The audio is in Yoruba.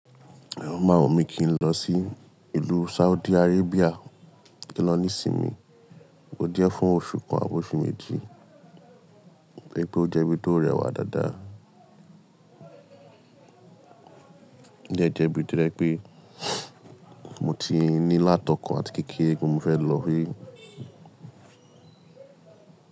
Amo o máa wùnmí kí n lọ sí ìlú Saudi Arabia, kí n lọ ní ìsinmi. Ó jẹ̀ fún oṣù kan àbi oṣù méjì, pé ó jẹ́ ibi tó rẹwà dáadáa. Ó jẹ́ ibi to jẹ̀ pé mo ti ní lá tọ̀kan àti kékeré pé mo fẹ́ lọ rí.